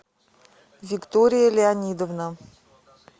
виктория леонидовна